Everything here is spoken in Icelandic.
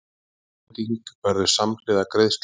Afhending verður samhliða greiðslu